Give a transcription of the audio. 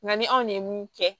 Nka ni anw de ye mun kɛ